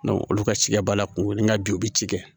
olu ka cikɛ b'a la kunni ka bi u bɛ ci kɛ